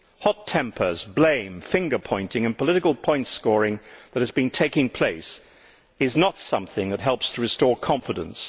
Hot tempers, blame, finger pointing and the political point scoring which has been taking place is not something that helps to restore confidence